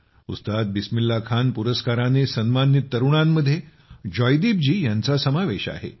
उस्ताद बिस्मिल्ला खान पुरस्काराने सन्मानित तरुणांमध्ये जयदीप जी यांचा समावेश आहे